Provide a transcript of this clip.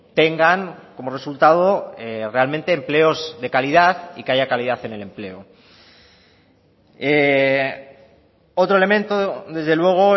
tengan como resultado realmente empleos de calidad y que haya calidad en el empleo otro elemento desde luego